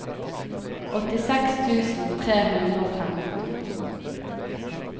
åttiseks tusen tre hundre og femten